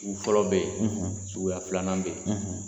Sugu fɔlɔ bɛ ye suguya filanan bɛ ye